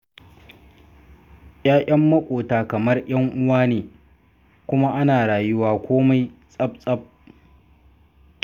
Ya'yan maƙota kamar 'yan'uwa ne, kuma ana rayuwa komai tsaf-tsaf.